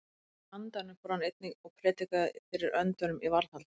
Í andanum fór hann einnig og prédikaði fyrir öndunum í varðhaldi.